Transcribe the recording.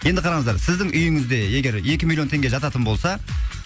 енді қараңыздар сіздің үйіңізде егер екі миллион теңге жататын болса